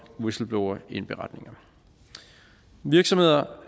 whistleblowerindberetninger virksomheder